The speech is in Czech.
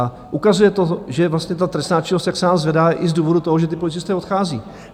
A ukazuje to, že vlastně ta trestná činnost se nám zvedá i z důvodu toho, že ti policisté odcházejí.